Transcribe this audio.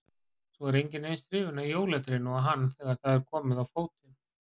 Svo er enginn eins hrifinn af jólatrénu og hann þegar það er komið á fótinn